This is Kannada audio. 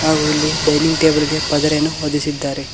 ಹಾಗೆ ಇಲ್ಲಿ ಡೈನಿಂಗ್ ಟೇಬಲ್ ಗೆ ಪದರೆಯನ್ನು ಒದಿಸಿದ್ದಾರೆ.